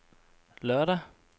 lørdag